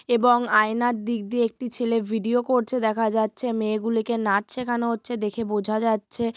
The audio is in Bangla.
এবং আয়নার দিক দিয়ে একটি ছেলে ভিডিও করছে দেখা যাচ্ছে মেয়ে গুলিকে নাচ সেখানো হচ্ছে দেখে বোঝা যাচ্ছে।